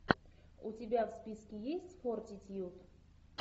у тебя в списке есть фортитьюд